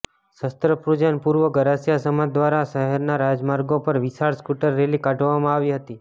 શસ્ત્રપૂજન પૂર્વે ગરાસિયા સમાજ દ્વારા શહેરના રાજમાર્ગો પર વિશાળ સ્કૂટર રેલી કાઢવામાં આવી હતી